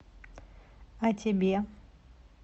а тебе